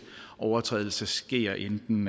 overtrædelser sker enten